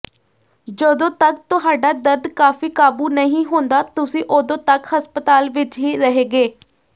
ਜਦੋਂ ਤਕ ਤੁਹਾਡਾ ਦਰਦ ਕਾਫ਼ੀ ਕਾਬੂ ਨਹੀਂ ਹੁੰਦਾ ਤੁਸੀਂ ਉਦੋਂ ਤੱਕ ਹਸਪਤਾਲ ਵਿਚ ਹੀ ਰਹੇਗੇ